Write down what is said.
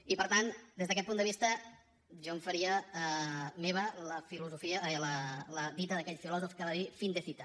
i per tant des d’aquest punt de vista jo em faria meva la dita d’aquell filòsof que va dir fin de cita